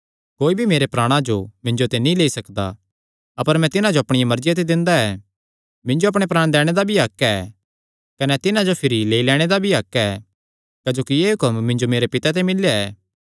कोई मेरे प्राणा जो मिन्जो ते लेई नीं सकदा अपर मैं तिन्हां जो अपणिया मर्जिया ते दिंदा ऐ मिन्जो अपणे प्राण दैणे दा भी हक्क ऐ कने तिन्हां जो भिरी लेई लैणे दा भी हक्क ऐ क्जोकि एह़ हुक्म मिन्जो मेरे पिता ते मिल्लेया ऐ